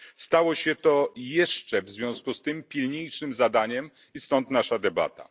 Stało się to jeszcze w związku z tym pilniejszym zadaniem i stąd nasza debata.